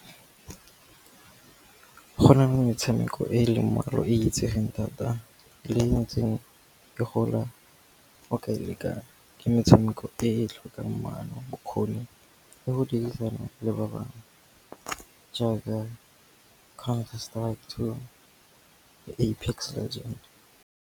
Go nale metshameko e e leng mmalwa e itsegeng thata le ntseng e gola e o ka e lekang, ke metshameko e e tlhokang maano, bokgoni le go dirisana le ba bangwe jaaka Counter Strike Two, Apex Legends.